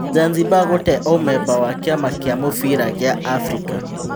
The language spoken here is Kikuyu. Zanzibari gũte ũmemba wa kĩ ama kĩ a mũbira gĩ a Afrika.